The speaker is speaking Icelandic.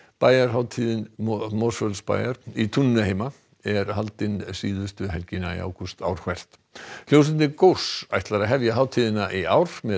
bæjarhátíð Mosfellsbæjar í túninu heima er haldin síðustu helgina í ágúst ár hvert hljómsveitin góss ætlar að hefja hátíðina í ár með